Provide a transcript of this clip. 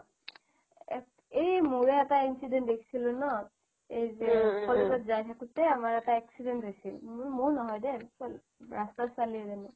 এ মোৰে এটা incident দেখছিলো ন এই যে college ত যাই থাকোতে আমাৰ এটা accident হৈছিল মোৰ মোৰ নহয়দে ৰাস্তাৰ ছোৱালি এজনীৰ